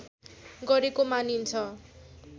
गरेको मानिन्छ